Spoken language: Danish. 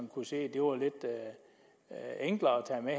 kunne se var lidt enklere at tage med